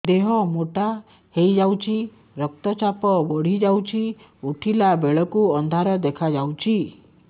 ଦେହ ମୋଟା ହେଇଯାଉଛି ରକ୍ତ ଚାପ ବଢ଼ି ଯାଉଛି ଉଠିଲା ବେଳକୁ ଅନ୍ଧାର ଦେଖା ଯାଉଛି